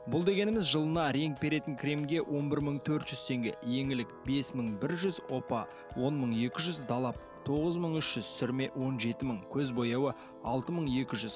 бұл дегеніңіз жылына реңк беретін кремге он бір мың төрт жүз теңге еңлік бес мың бір жүз опа он мың екі жүз далап тоғыз мың үш жүз сүрме он жеті мың көз бояуы алты мың екі жүз